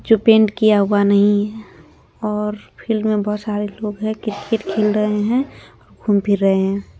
जो पैंट किया हुआ नहीं है और फील्ड मे बहोत सारे लोग है क्रिकेट खेल रहे है घूम फिर रहे है।